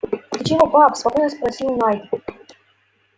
ты чего пап спокойно спросил найд